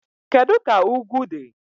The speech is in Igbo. Kedu ka ugwu dị?